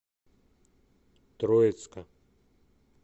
троицка